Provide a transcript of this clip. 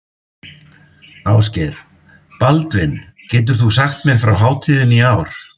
Ásgeir: Baldvin, getur þú sagt mér frá hátíðinni í ár?